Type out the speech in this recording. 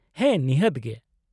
-ᱦᱮᱸ ᱱᱤᱦᱟᱹᱛ ᱜᱮ ᱾